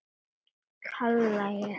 kalla ég.